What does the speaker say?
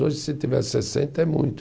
Hoje, se tiver sessenta, é muito.